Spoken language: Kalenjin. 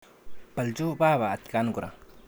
Bolcho baba atkan kora